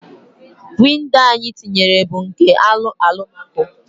Windo anyi tinyere bu nke alụ alumaco